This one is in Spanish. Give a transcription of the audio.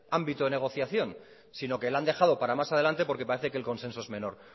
ámbito de negociación sino que la han dejado para más adelante porque parece que el consenso es menor